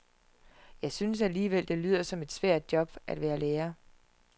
Jeg synes alligevel, det lyder som et svært job at være lærer.